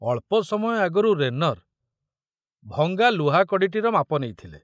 ଅଳ୍ପ ସମୟ ଆଗରୁ ରେନର ଭଙ୍ଗା ଲୁହାକଡ଼ିଟିର ମାପ ନେଇଥିଲେ।